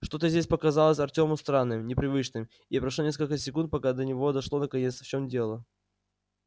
что-то здесь показалось артёму странным непривычным и прошло несколько секунд пока до него дошло наконец в чём дело